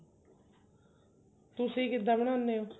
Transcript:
ਤੁਸੀਂ ਕਿਦਾਂ ਬਣਾਉਂਦੇ ਹੋ